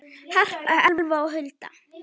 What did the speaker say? Harpa, Elfa og Hulda.